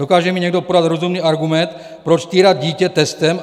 Dokáže mi někdo podat rozumný argument, proč týrat dítě testem?